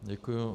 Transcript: Děkuji.